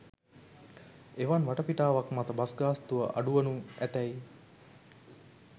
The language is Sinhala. එවන් වටපිටාවක් මත බස් ගාස්තුව අඩු වනු ඇතැයි